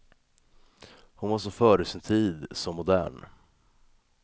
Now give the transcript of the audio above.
Hon var så före sin tid, så modern.